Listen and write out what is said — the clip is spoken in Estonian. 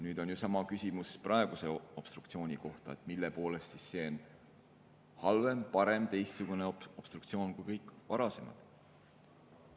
Nüüd on sama küsimus praeguse obstruktsiooni kohta, et mille poolest see on halvem, parem, teistsugune obstruktsioon kui kõik varasemad.